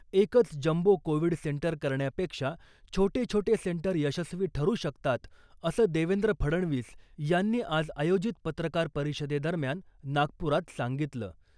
एकच jumbo covid centre करण्यापेक्षा छोटे छोटे सेंटर यशस्वी ठरू शकतात असं देवेंद्र फडणवीस यांनी आज आयोजित पत्रकार परिषदे दरम्यान नागपुरात सांगितलं .